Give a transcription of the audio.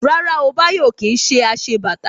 Rárá o, Bayo ò kí ń ṣe aṣebàtà